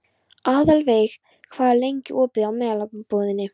Aðalveig, hvað er lengi opið í Melabúðinni?